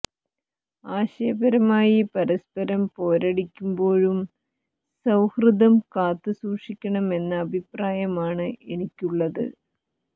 ആശയ പരമായി പരസ്പരം പോരടിക്കുമ്പോഴും സൌഹാര്ദ്ദം കാത്തു സൂക്ഷിക്കണമെന്ന അഭിപ്രായമാണ് എനിക്കുള്ളത്